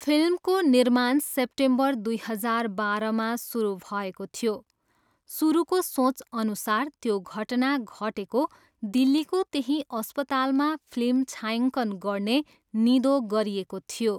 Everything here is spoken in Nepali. फिल्मको निर्माण सेप्टेम्बर दुई हजार बाह्रमा सुरु भएको थियो, सुरुको सोचअनुसार त्यो घटना घटेको दिल्लीको त्यही अस्पतालमा फिल्म छायाङ्कन गर्ने निधो गरिएको थियो।